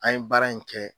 An ye baara in kɛ